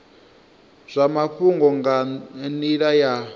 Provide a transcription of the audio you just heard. zwa mafhungo nga nila ya